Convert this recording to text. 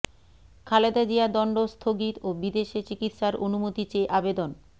খালেদা জিয়ার দণ্ড স্থগিত ও বিদেশে চিকিৎসার অনুমতি চেয়ে আবেদন